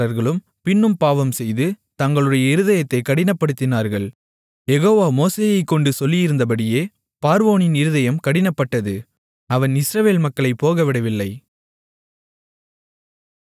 யெகோவா மோசேயைக்கொண்டு சொல்லியிருந்தபடியே பார்வோனின் இருதயம் கடினப்பட்டது அவன் இஸ்ரவேல் மக்களைப் போகவிடவில்லை